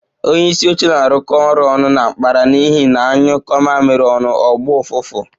Onye isi oche na-arụkọ ọrụ ọnụ na mkpara n'ihi na anyuko mamiri onu o gba ufufu